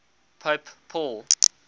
pope paul